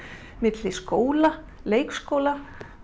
milli skóla leikskóla